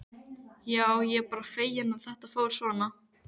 Já, ég er bara feginn að þetta fór svona.